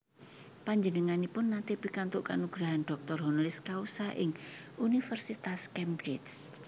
Panjenenganipun naté pikantuk kanugrahan doctor honoris causa ing Universitas Cambridge